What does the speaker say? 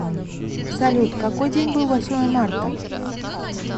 салют какой день был восьмое марта